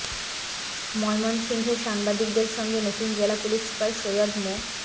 ময়মনসিংহে সাংবাদিকদের সঙ্গে নতুন জেলা পুলিশ সুপার সৈয়দ মো